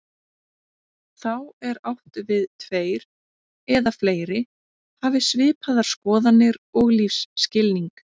Þá er átt við tveir eða fleiri hafi svipaðar skoðanir og lífsskilning.